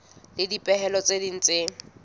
le dipehelo tse ding tse